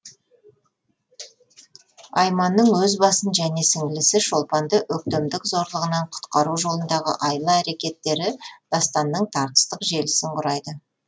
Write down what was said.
айманның өз басын және сіңлісі шолпанды өктемдік зорлығынан құтқару жолындағы айла әрекеттері дастанның тартыстық желісін құрайды